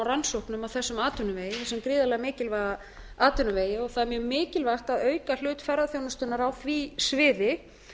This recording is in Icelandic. rannsóknum á þessum atvinnuvegi þessum gríðarlega mikilvæga atvinnuvegi það er mjög mikilvægt að auka hlut ferðaþjónustunnar á því sviði